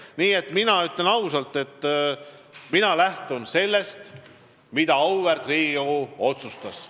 Nii et mina ütlen ausalt, et mina lähtun sellest, mida auväärt Riigikogu otsustas.